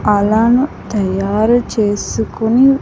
అలాను తయారు చేసుకొని.